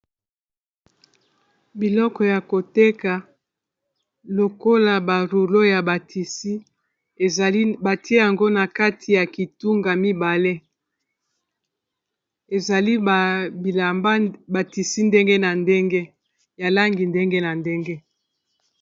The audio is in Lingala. Biloko ya koteka lokola baruro ya ba tisi ezali batie yango na kati ya kitunga mibale ezali bilamba ba tisi ndenge na ndenge ya langi ndenge na ndenge.